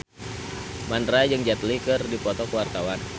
Mandra jeung Jet Li keur dipoto ku wartawan